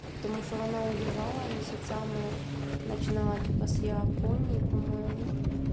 потому что она уезжала месяцами начинала типа с японией по-моему